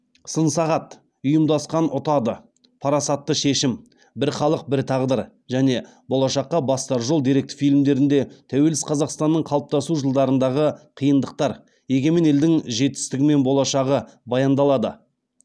сын сағат ұйымдасқан ұтады парасатты шешім бір халық бір тағдыр және болашаққа бастар жол деректі фильмдерінде тәуелсіз қазақстанның қалыптасу жылдарындағы қиындықтар егемен елдің жетістігі мен болашағы баяндалады